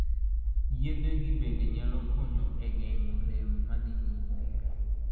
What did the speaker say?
Yethe gi bende nyalo konyo e geng'o rem ma dhi nyime.